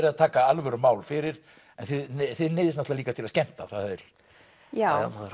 að taka alvöru mál fyrir en þið neyðist líka til að skemmta já maður